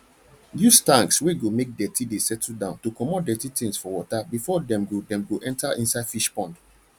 use tanks wey go make dirty de settle down to comot dirty things for water before dem go dem go enter inside fish pond